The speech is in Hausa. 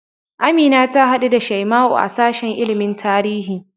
Amina ta haɗu da Shaima'u a sashen ilimin tarihi.